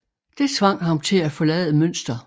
Det tvang ham til at forlade Münster